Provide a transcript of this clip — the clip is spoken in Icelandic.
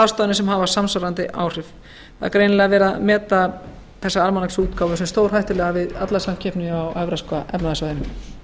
ráðstafanir sem hafa samsvarandi áhrif það er greinilega metið sem svo að þessi almanaksútgáfa sé stórhættuleg allri samkeppni á evrópska efnahagssvæðinu